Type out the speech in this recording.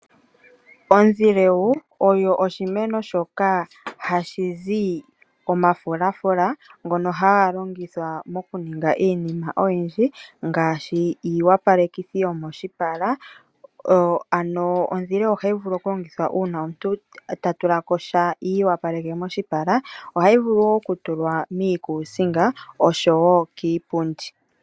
Ondhileu oyo oshimeno shoka hashi zi omafulafula ngono haga longithwa mokuninga iinima oyindji ngaashi iiopalekitho yomoshipala, ano ondhilewu ohayi vulu okulongithwa uuna omuntu ta tula ko sha iiopaleke moshipala. Ohayi vulu wo okutulwa miikuusinga noshowo kiipundi.